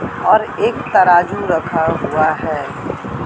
और एक तराजू रखा हुआ है।